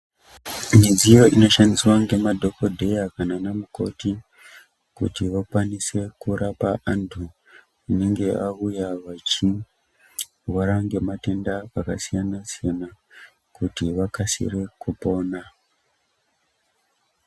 Midziyo ino shandiswa nge madhokodheya kana ana mukoti kuti vakwanise kurapa antu anenge auya vachi rware nge matenda aka siyana siyana kuti vakasire kupona.